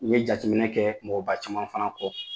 N ɲe jatejaminɛ kɛ mɔgɔba caman fana kɔ